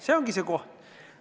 See ongi see koht!